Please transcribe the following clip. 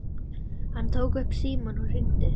Hann tók upp símann og hringdi.